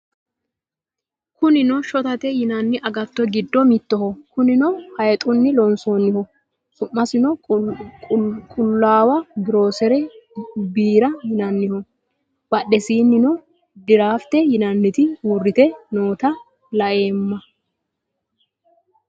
Kunni shottate yinanni aggatto giddo mittoho. kunnino hayixxuni loonisaniho sumasinno qullawa giyoriggisi biira yiinaniho badhesininno dirrafitte yinnanniti uuritte noota la'emma